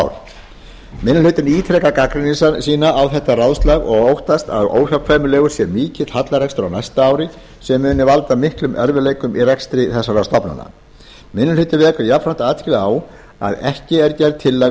ár minni hlutinn ítrekar gagnrýni sína á þetta ráðslag og óttast að óhjákvæmilegur sé mikill hallarekstur á næsta ári sem muni valda miklum erfiðleikum í rekstri þessara stofnana minni hlutinn vekur jafnframt athygli á því að ekki er gerð tillaga